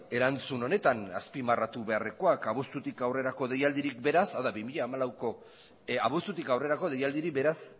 erantzun honetan azpimarratu beharrekoak abuztutik aurrerako deialditik beraz bi mila hamalauko abuztutik aurrerako deialdirik beraz